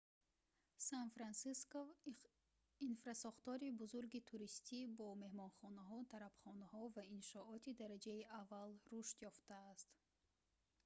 сан-франсиско инфрасохтори бузурги туристӣ бо меҳмонхонаҳо тарабхонаҳо ва иншооти дараҷаи аввал рушд ёфтааст